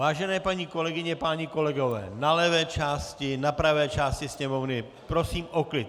Vážené paní kolegyně, páni kolegové, na levé části, na pravé části Sněmovny, prosím o klid.